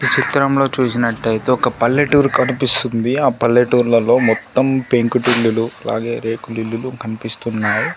చిత్రంలో చూసినట్టైతే ఒక పల్లెటూరు కనిపిస్తుంది ఆ పల్లెటూర్లలో మొత్తం పెంకుటిల్లులు అలాగే రేకులిల్లులు కన్పిస్తున్నాయ్.